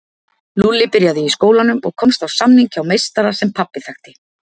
Lúlli byrjaði í skólanum og komst á samning hjá meistara sem pabbi þekkti.